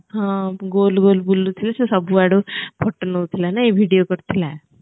ହଁ ଗୋଲ ଗୋଲ ବୁଲୁଥିଲା ସେ ସବୁଆଡୁ photo ନଉଥିଲା ନାଇଁ video କରୁଥିଲା